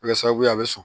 Kɛ sababu ye a bɛ sɔn